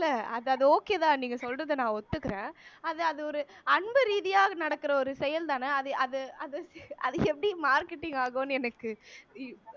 இல்ல அதாவது okay தான் நீங்க சொல்றதை நான் ஒத்துக்குறேன் அது அது ஒரு அன்பு ரீதியாக நடக்கிற ஒரு செயல்தானே அது அது அது எப்படி marketing ஆகும்ன்னு எனக்கு